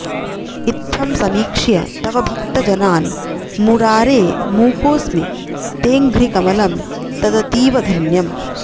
इत्थं समीक्ष्य तव भक्तजनान् मुरारे मूकोऽस्मि तेऽङ्घ्रिकमलं तदतीव धन्यम्